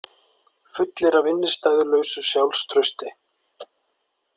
Fullir af innistæðulausu sjálfstrausti.